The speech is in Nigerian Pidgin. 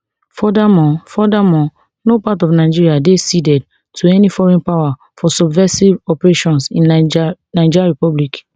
furthermore furthermore no part of nigeria dey ceded to any foreign power for subversive operations in niger republic